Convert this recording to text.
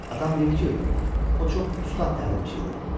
Atam deyir ki, o çox ustad təlimçi idi.